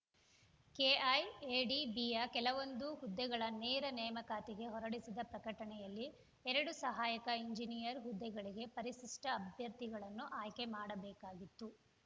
ಕೆಐಎಡಿಬಿಯ ಕೆಲವೊಂದು ಹುದ್ದೆಗಳ ನೇರ ನೇಮಕಾತಿಗೆ ಹೊರಡಿಸಿದ್ದ ಪ್ರಕಟಣೆಯಲ್ಲಿ ಎರಡು ಸಹಾಯಕ ಇಂಜಿನಿಯರ್ ಹುದ್ದೆಗಳಿಗೆ ಪರಿಶಿಷ್ಟ ಅಭ್ಯರ್ಥಿಗಳನ್ನು ಆಯ್ಕೆ ಮಾಡಬೇಕಾಗಿತ್ತು